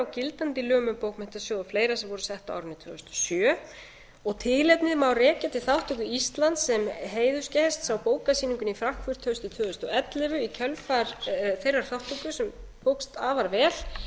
gildandi lögum um bókmenntasjóð og fleira sem voru sett á árinu tvö þúsund og sjö tilefnið má rekja til þátttöku íslands sem heiðursgests á bókmenntasýningunni í frankfurt haustið tvö þúsund og sjö í kjölfar þeirrar þátttöku sem tókst afar